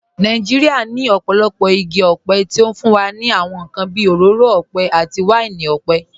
Nàìjíríà ní ọ̀pọ̀lọpọ̀ igi ọ̀pẹ tí ó fún wa ní àwọn nǹkan bí òróró ọ̀pẹ àti wáìnì ọ̀pẹ.